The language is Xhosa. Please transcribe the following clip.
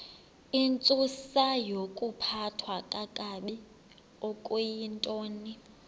intsusayokuphathwa kakabi okuyintoni